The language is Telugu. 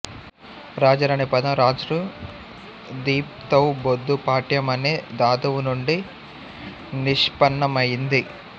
రాజన్ అనే పదం రాజృ దీప్తౌబొద్దు పాఠ్యం అనే ధాతువు నుండి నిష్పన్నమయింది